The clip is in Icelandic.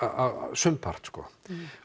sumpart